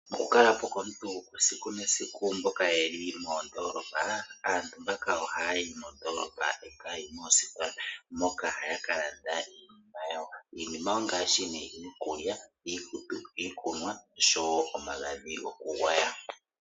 Okukala po komuntu esiku nesiku mboka ye li moondoolopa, aantu mbaka ohaya yi moondolopa e taya yi moositola moka haya ka landa iinima yawo. Iinima ongaashi nee iikulya, iikutu, iikunwa osho wo omagadhi gokugwaya.